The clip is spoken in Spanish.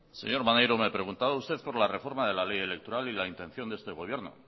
señor maneiro me preguntaba usted por la reforma de la ley electoral y la intención de este gobierno